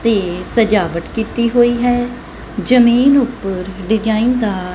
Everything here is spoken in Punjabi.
ਤੇ ਸਜਾਵਟ ਕੀਤੀ ਹੋਈ ਹੈ ਜਮੀਨ ਉੱਪਰ ਡਿਜ਼ਾਈਨ ਦਾਰ--